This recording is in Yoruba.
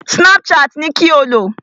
Snapchat ni kí o lò!